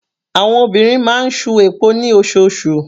Àwọn obìnrin máa ń ṣu epo ní osoosù.